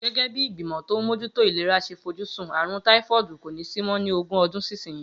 Gégé̩ bí ìgbìmò̩ tó ń mójútó ìlera s̩e fojúsùn, àrùn táífó̩ò̩dù kò ní sí mó̩ ni ogún o̩dún sísinyìí